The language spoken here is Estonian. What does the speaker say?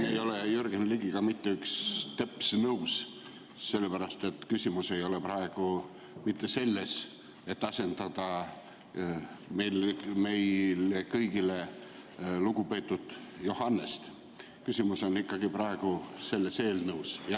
Ma ei ole siin Jürgen Ligiga mitte üks teps nõus, sellepärast et küsimus ei ole praegu mitte selles, et asendada meie kõigi lugupeetud Johannest, vaid küsimus on ikkagi selles eelnõus.